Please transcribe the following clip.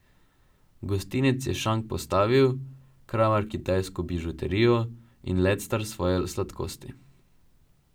Gostinec je šank postavil, kramar kitajsko bižuterijo in lectar svoje sladkosti.